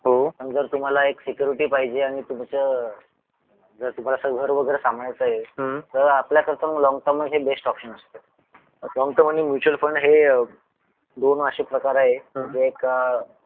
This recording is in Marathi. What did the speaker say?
पण जर तुम्हाला एक सिक्युरिटी पाहिजे आणि तुमचं जर तुम्हाला घर वगैरे सांभाळायचा आहे तर आपल्यासाठी लॉन्ग टर्म हा बेस्ट ऑप्शन असतो लॉन्ग टर्म आणि म्युच्युअल फंड हे दोन असे प्रकार आहेत जे एक